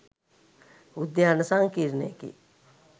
උද්‍යාන සංකීර්ණයකි